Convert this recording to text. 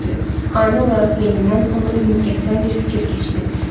Ani olaraq beynindən ona ümid gətirən bir fikir keçdi.